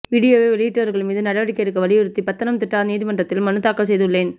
வீடியோவை வெளியிட்டவர்கள் மீது நடவடிக்கை எடுக்க வலியுறுத்தி பத்தனம்திட்டா நீதிமன்றத்தில் மனு தாக்கல் செய்துள்ளேன்